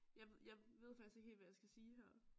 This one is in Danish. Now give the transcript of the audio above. Jeg ved faktisk ikke helt hvad jeg skal sige her